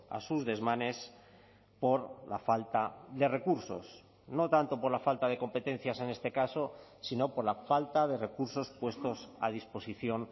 a sus desmanes por la falta de recursos no tanto por la falta de competencias en este caso sino por la falta de recursos puestos a disposición